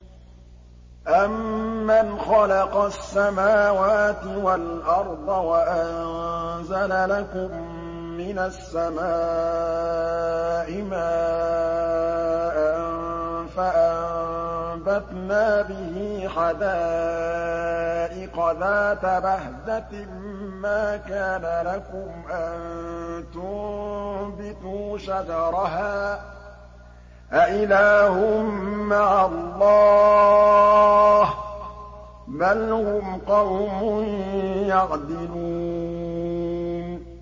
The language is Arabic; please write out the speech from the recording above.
أَمَّنْ خَلَقَ السَّمَاوَاتِ وَالْأَرْضَ وَأَنزَلَ لَكُم مِّنَ السَّمَاءِ مَاءً فَأَنبَتْنَا بِهِ حَدَائِقَ ذَاتَ بَهْجَةٍ مَّا كَانَ لَكُمْ أَن تُنبِتُوا شَجَرَهَا ۗ أَإِلَٰهٌ مَّعَ اللَّهِ ۚ بَلْ هُمْ قَوْمٌ يَعْدِلُونَ